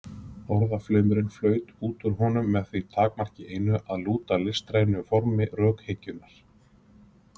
Orðaflaumurinn flaut út úr honum með því takmarki einu, að lúta listrænu formi rökhyggjunnar.